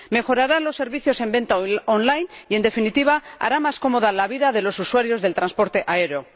Mejorará los servicios de venta en línea y, en definitiva, hará más cómoda la vida de los usuarios del transporte aéreo.